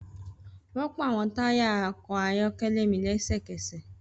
Rọpo awọn taya ọkọ ayọkẹlẹ mi lẹsẹkẹsẹ!